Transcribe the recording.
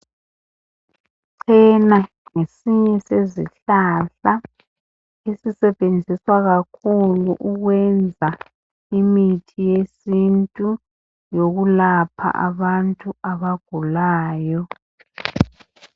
Ichena ngesinye sezihlahla ezisetshenziswa kakhulu ukwenza imithi yesintu yokulapha abantu abagulayo.